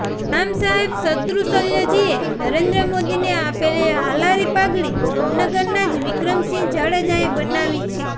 જામસાહેબ શત્રુશલ્યજીએ નરેન્દ્ર મોદીને આપેલી હાલારી પાઘડી જામનગરના જ વિક્રમસિંહ જાડેજાએ બનાવી છે